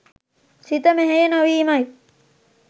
සිත මෙහෙය නොවීමයි.